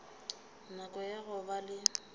nako ya go ba le